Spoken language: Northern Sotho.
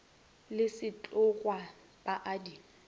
le sethokgwa ba a di